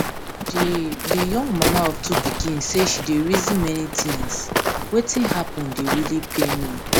di di young mama of two pikin say she dey reason many tins wetin happun dey really pain me